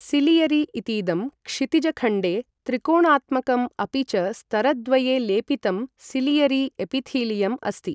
Ciliary इतीदं क्षितिजखण्डे त्रिकोणात्मकम् अपि च स्तरद्वये लेपितं सिलियरी एपिथीलियम् अस्ति।